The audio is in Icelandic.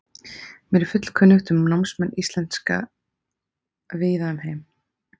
Mér er fullkunnugt um námsmenn íslenska víða um heim.